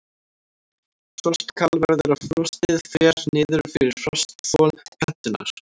Frostkal verður ef frostið fer niður fyrir frostþol plöntunnar.